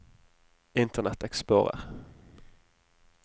internet explorer